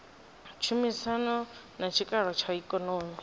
tshumisano na tshikalo tsha ikonomi